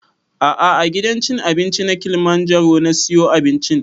A'a a gidan cin abinci na kilimanjaro na siyo abincin